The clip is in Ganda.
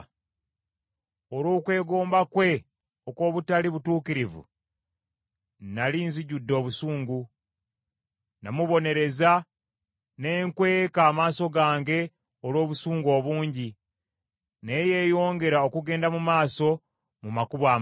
Olw’okwegomba kwe okw’obutali butuukirivu nnali nzijjudde obusungu. Namubonereza ne nkweka amaaso gange olw’obusungu obungi naye yeeyongera okugenda mu maaso mu makubo amabi.